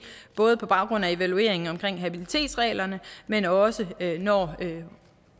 både på baggrund af evalueringen af habilitetsreglerne men også når